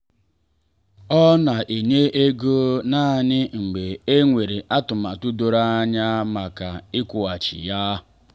ọ na enye ego naanị mgbe e nwere atụmatụ doro anya maka ịkwụghachi ya.